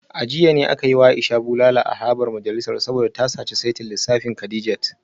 A jiya ne aka yi wa Aisha bulala a harabar majalisar saboda ta saci saitin lissafin Kadijat